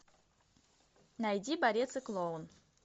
найди борец и клоун